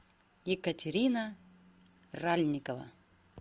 екатерина ральникова